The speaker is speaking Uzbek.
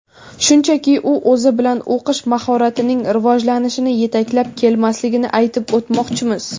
shunchaki u o‘zi bilan o‘qish mahoratining rivojlanishini yetaklab kelmasligini aytib o‘tmoqchimiz.